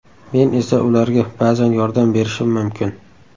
Men esa ularga ba’zan yordam berishim mumkin.